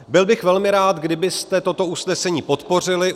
Byl bych velmi rád, kdybyste toto usnesení podpořili.